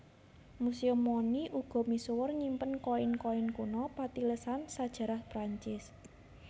Museum Monnie uga misuwur nyimpen koin koin kuno patilasan sajarah Prancis